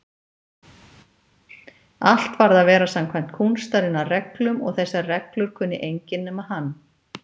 Allt varð að vera samkvæmt kúnstarinnar reglum og þessar reglur kunni enginn nema hann.